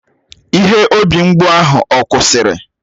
Ihe obi mgbụ ahụ ọ kwụsịrị?